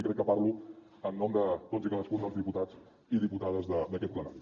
i crec que parlo en nom de tots i cadascun dels diputats i diputades d’aquest plenari